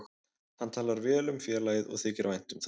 Hann talar vel um félagið og þykir vænt um það.